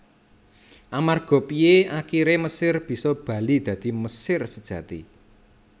Amarga Piye akiré Mesir bisa bali dadi Mesir sejati